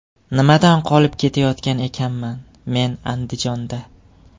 Nimadan qolib ketayotgan ekanman men Andijonda.